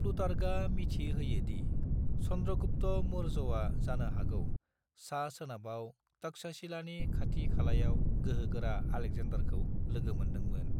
प्लूटार्कआ मिथि होयो दि चंद्रगुप्त मौर्यया जानो हागौ सा-सोनाबाव तक्षशिलानि खाथि-खालायाव गोहोगोरा आलेकजेन्डारखौ लोगो मोन्दोंमोन।